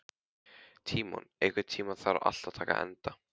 Tímon, einhvern tímann þarf allt að taka enda.